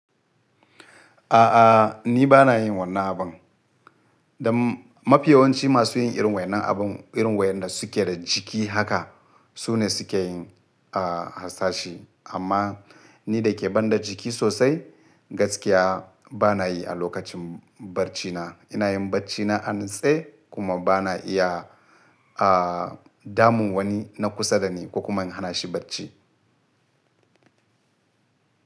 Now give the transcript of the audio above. A'a, ni ba na yin wannan abun. Don mafi yawanci masu yin irin wayannan abun, irin wayanda suke da ciki haka su ne suke yin, ah, hasashi. Amma ni da ke banda jiki sosai gaskiya ba na yi a lokacin barcina. Ina yin barcina a natse kuma ba na iya damun wani na kusa da ni ko kuma hana shi barci.